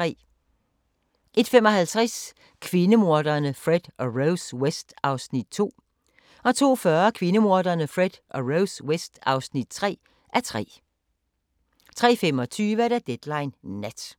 01:55: Kvindemorderne Fred og Rose West (2:3) 02:40: Kvindemorderne Fred og Rose West (3:3) 03:25: Deadline Nat